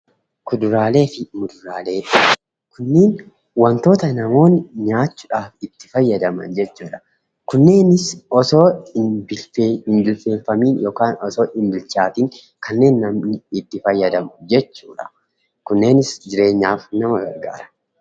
Kuduraalee fi muduraalee kunniin wantoota namoonni nyaachuudhaaf itti fayyadaman jechuudha. Kunneenis otoo hin bilcheeffamiin yookaan osoo hin bilchaatiin kanneen namni itti fayyadamu jechuudha. Kunneenis jireenyaaf nama gargaara.